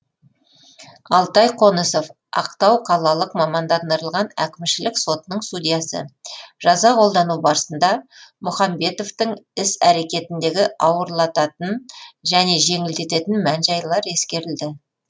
алтай қонысов ақтау қалалық мамандандырылған әкімшілік сотының судьясы жаза қолдану барысында мұхамбетовтың іс әрекетіндегі ауырлататын және жеңілдететін мән жайлар ескерілді